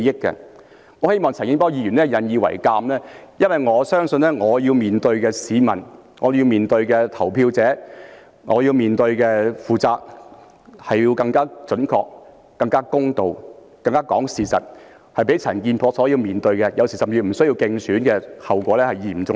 我希望陳健波議員引以為鑒，因為我相信我要面對的市民、我要面對的投票者、我要面對的責任，是要更加準確、更加公道、更加講事實，較陳健波這些有時不需要競選的議員所要面對的，後果更為嚴重。